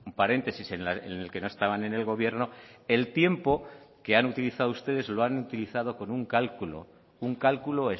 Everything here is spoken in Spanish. paréntesis en el que no estaban en el gobierno el tiempo que han utilizado ustedes lo han utilizado con un cálculo un cálculo